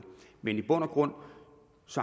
men i bund og grund